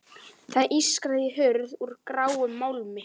Það ískraði í hurð úr gráum málmi.